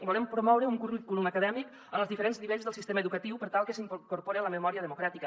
volem promoure un currículum acadèmic en els diferents nivells del sistema educatiu per tal que s’hi incorpore la memòria democràtica